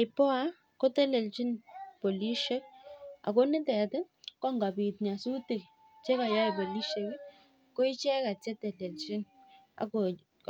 IPOA kotelenchin polishek. Ako nitet ko ngopit nyasutik che kayai polishek koicheket cheteteanchi